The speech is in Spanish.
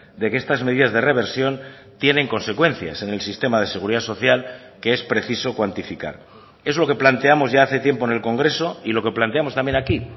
de que estas medidas de reversión tienen consecuencias en el sistema de seguridad social que es preciso cuantificar es lo que planteamos ya hace tiempo en el congreso y lo que planteamos también aquí